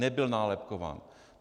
Nebyl nálepkován.